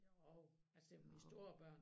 Jo altså det med de store børn